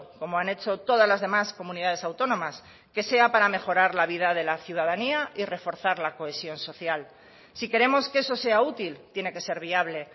como han hecho todas las demás comunidades autónomas que sea para mejorar la vida de la ciudadanía y reforzar la cohesión social si queremos que eso sea útil tiene que ser viable